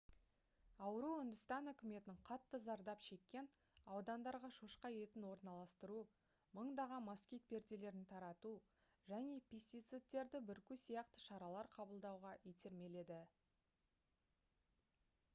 ауру үндістан үкіметін қатты зардап шеккен аудандарға шошқа етін орналастыру мыңдаған москит перделерін тарату және пестицидтерді бүрку сияқты шаралар қабылдауға итермеледі